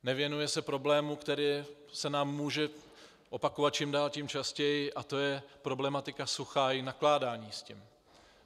Nevěnuje se problému, který se nám může opakovat čím dál tím častěji, a to je problematika sucha a nakládání s tím.